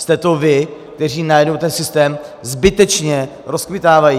Jste to vy, kteří najednou ten systém zbytečně rozkmitávají.